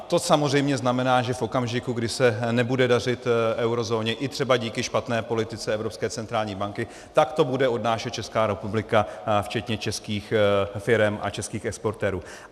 To samozřejmě znamená, že v okamžiku, kdy se nebude dařit eurozóně i třeba díky špatné politice Evropské centrální banky, tak to bude odnášet Česká republika včetně českých firem a českých exportérů.